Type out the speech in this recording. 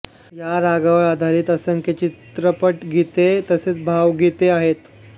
या रागावर आधारित असंख्य चित्रपटगीते तसेच भावगीते आहेत